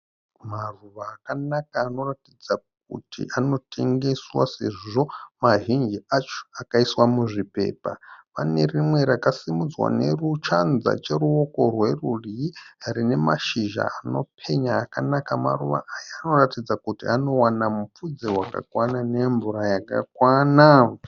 Maruva akanaka anoratidza kuti anotengeswa sezvo mazhinji acho akaiswa muzvipepa. Pane rimwe rakasimudzwa neruchanza cheruoko rwerudyi rine mashizha anopenya akanaka. Maruva aya anoratidza kuti anowana mupfudze wakakwana nemvura yakakwana.